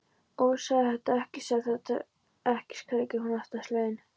Ó, segðu þetta ekki, segðu þetta ekki, skrækir hún óttaslegin.